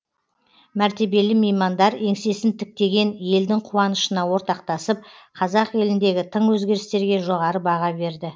мәртебелі меймандар еңсесін тіктеген елдің қуанышына ортақтасып қазақ еліндегі тың өзгерістерге жоғары баға берді